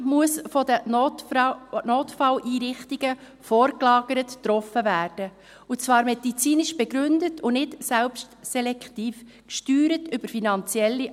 » muss von den Notfalleinrichtungen vorgelagert getroffen werden, und zwar medizinisch begründet und nicht über finanzielle Anreize selbstselektiv gesteuert werden.